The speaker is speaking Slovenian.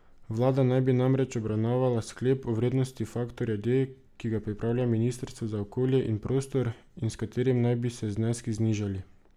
Vlada naj bi namreč obravnavala sklep o vrednosti faktorja D, ki ga pripravlja ministrstvo za okolje in prostor in s katerim naj bi se zneski znižali.